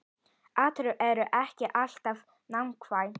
Ártöl eru ekki alltaf nákvæm